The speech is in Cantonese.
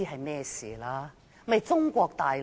便是中國大陸。